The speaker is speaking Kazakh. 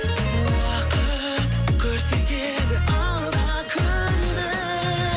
уақыт көрсетеді алда күнді